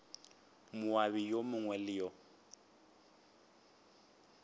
moabi yo mongwe le yo